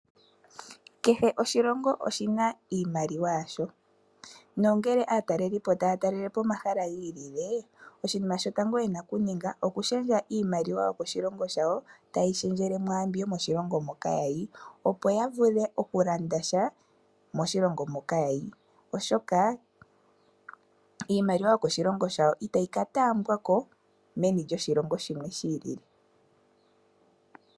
Kehe oshilongo oshina iimaliwa yasho. Nongele aatalelipo taya talele po omahala gi ilile oshinima shotango yena okuninga okushendja iimaliwa yokoshilongo shawo taye yishendjele mwaambi yomoshilongo moka yayi opo ya vule okulandasha moshilongo moka yayi. Oshoka iimaliwa yokoshilongo shawo itayi ka taambwako meni lyoshilongo shimwe shi ilile.